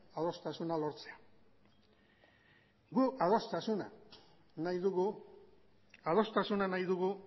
adostasuna lortzea gu adostasuna nahi dugu adostasuna nahi dugu